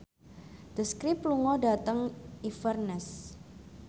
The Script lunga dhateng Inverness